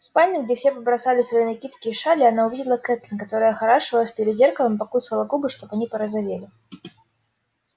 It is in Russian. в спальне где все побросали свои накидки и шали она увидела кэтлин которая охорашивалась перед зеркалом и покусывала губы чтобы они порозовели